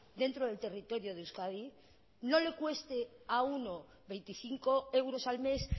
dentro del territorio de euskadi no le cueste a uno veinticinco euros al mes